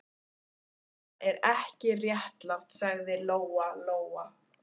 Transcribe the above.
Þetta er ekki réttlátt, sagði Lóa Lóa.